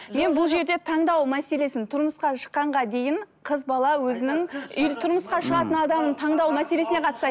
мен бұл жерде таңдау мәселесін тұрмысқа шыққанға дейін қыз бала өзінің тұрмысқа шығатын адамның таңдау мәселесіне